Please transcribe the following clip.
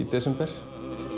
desember